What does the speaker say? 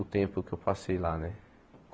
O tempo que eu passei lá, né?